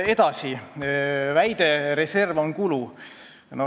Edasi sellest väitest, et reserv on kulu.